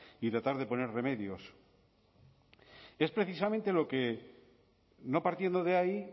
y tratar de poner remedios es precisamente lo que no partiendo de ahí